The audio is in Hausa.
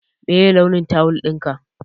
Meye launin tawul ɗinka?